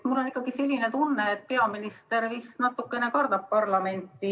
Mul on selline tunne, et peaminister natukene kardab parlamenti.